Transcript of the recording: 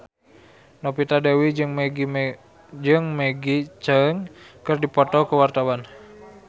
Novita Dewi jeung Maggie Cheung keur dipoto ku wartawan